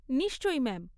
নিশ্চয়ই, ম্যাম।